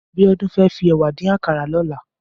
Abiola fè fi èwà dín àkárá lòlá